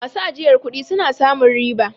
Masu ajiyar sanin suna samun riba